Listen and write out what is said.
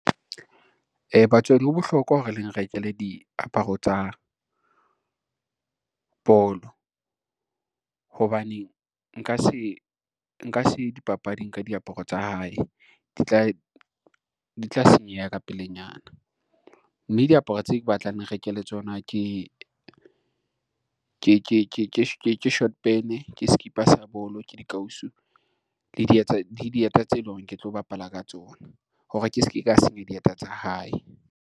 Batswadi ho bohlokwa hore le nrekele diaparo tsa bolo, hobane nka se ye dipapading ka diaparo tsa hae di tla senyeha ka pelenyana, mme diaparo tse ke batlang le nrekele tsona ke short pene, ke skipa sa bolo, ke dikausu, le dieta tse loreng ke tlo bapala ka tsona hore ke se ke ka senya dieta tsa hae.